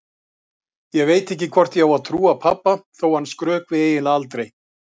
Ég veit ekki hvort ég á að trúa pabba þó að hann skrökvi eiginlega aldrei.